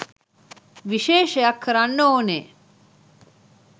විශේෂයක් කරන්න ඕනේ.